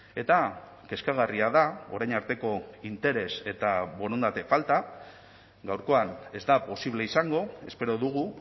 eta kezkagarria da orain arteko interes eta borondate falta gaurkoan ez da posible izango espero dugu